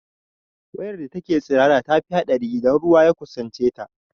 Wayar da take tsirara tafi haɗari idan ruwa ya kusance ta